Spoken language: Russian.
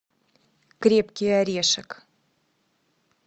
крепкий орешек